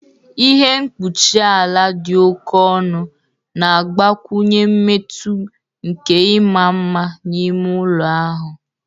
Ihe mkpuchi ala di oké ọnụ na-agbakwụnye mmetụ nke ịma mma n'ime ụlọ ahụ.